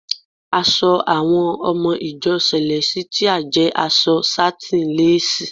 Aṣọ àwọn ọmọ ìjọ sẹ̀lẹ́sítíà jẹ aṣọ sátíń lásìì.